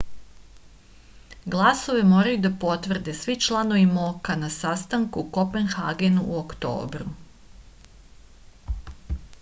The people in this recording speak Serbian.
glasove moraju da potvrde svi članovi mok-a na sastanku u kopenhagenu u oktobru